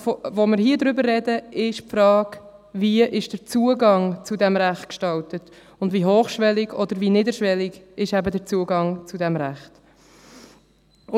Wir sprechen hier darüber, wie der Zugang zu diesem Recht gestaltet ist und wie hoch- oder niederschwellig der Zugang zu diesem Recht ist.